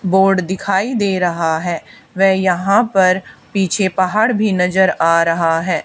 Board दिखाई दे रहा है वे यहां पर पीछे पहाड़ भी नजर आ रहा है।